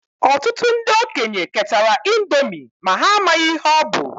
Ọtụtụ ndị okenye ketara índomi ma ha amaghị ihe ọ bu.